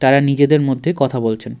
তারা নিজেদের মধ্যে কথা বলছেন।